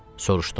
Soruşdum.